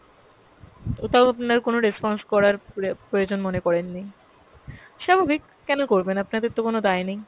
ওটাও আপনার কোনো response করার প্রয়া~ প্রয়োজন মনে করেননি। স্বাভাবিক কেনো করবেন, আপাদের তো কোন দায় নেই, কেনো কো।